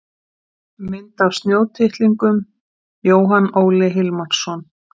Mynd af snjótittlingum: Jóhann Óli Hilmarsson.